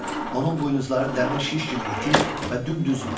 Onun buynuzları dəmir şiş kimi iti və dümdüz idi.